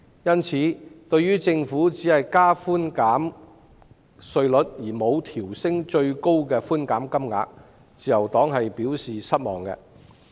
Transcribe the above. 因此，對於政府只提高稅務寬減比率而沒有調升最高寬減金額，自由黨表示失望。